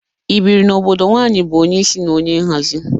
I bịrị n'obodo nwaanyị bụ onye isi na onye nhazị?